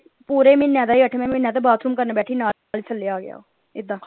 ਪੂਰੇ ਮਹੀਨਿਆਂ ਦਾ ਹੀ ਅਠਵੇਂ ਮਹੀਨੇ ਦਾ ਹੀ ਬਾਥਰੂਮ ਕਰਨ ਬੈਠੀ ਨਾਲ ਹੀ ਥੱਲੇ ਆ ਗਿਆ ਉਹ ਏਦਾਂ।